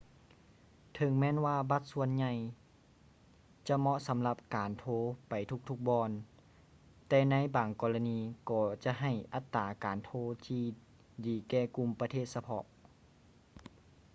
ເຖິງແມ່ນວ່າບັດສ່ວນໃຫຍ່ຈະເໝາະສຳລັບການໂທໄປທຸກໆບ່ອນ ແຕ່ໃນບາງກໍລະນີກໍຈະໃຫ້ອັດຕາການໂທທີ່ດີແກ່ກຸ່ມປະເທດສະເພາະ